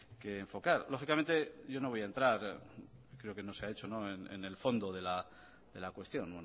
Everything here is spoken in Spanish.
que enfocar lógicamente yo no voy a entrar creo que no se ha hecho en el fondo de la cuestión